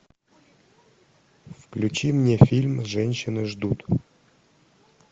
включи мне фильм женщины ждут